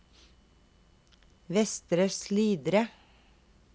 Vestre Slidre